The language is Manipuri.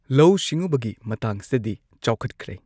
ꯂꯧꯎ ꯁꯤꯡꯎꯕꯒꯤ ꯃꯇꯥꯡꯁꯤꯗꯗꯤ ꯆꯥꯎꯈꯠꯈ꯭ꯔꯦ꯫